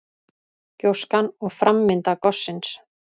Gjóskan og framvinda gossins.